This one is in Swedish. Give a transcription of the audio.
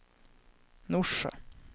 Norsjö